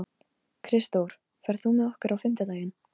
Kristdór, ferð þú með okkur á fimmtudaginn?